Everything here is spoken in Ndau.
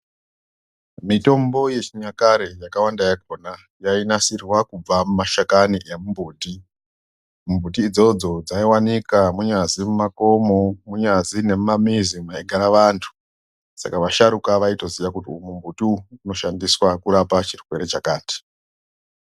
Mitombo yechinyakare yakawwanda yakona yainasirwa kubva mumashakani emumbuti. Mbuti idzodzo dzaivanika munyazi mumakomo, munyazi nemumamizi maigara vantu. Sakavasharuka vaitoziya kuti mumbuti umu munoshandiswa kurapa chirwere chakati.